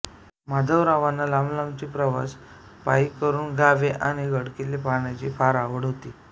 माधवरावांना लांबलांबचे प्रवास पायी करून गावे आणि गडकिल्ले पाहण्याची फार आवड होती